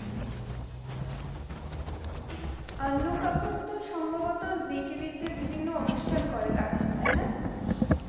আন্নু কাপুর তো সম্ভবত zee TV তে বিভিন্ন অনুষ্ঠান করেন গানের তাই না?